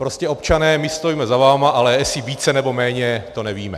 Prostě občané, my stojíme za vámi, ale jestli více, nebo méně, to nevíme.